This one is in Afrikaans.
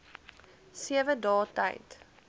sewe dae tyd